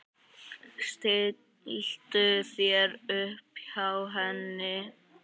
Stilltu þér upp hjá henni.